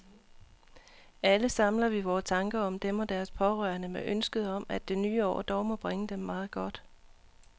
Alle samler vi vore tanker om dem og deres pårørende med ønsket om, at det nye år dog må bringe dem meget godt.